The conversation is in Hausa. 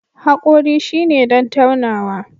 Haƙori shine don taunawa